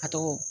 A tɔgɔ